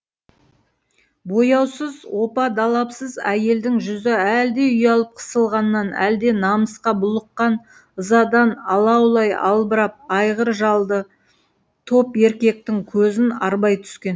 бояусыз опа далапсыз әйелдің жүзі әлде ұялып қысылғаннан әлде намысқа булыққан ызадан алаулай албырап айғыр жалды топ еркектің көзін арбай түскен